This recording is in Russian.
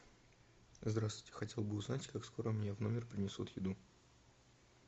здравствуйте хотел бы узнать как скоро мне в номер принесут еду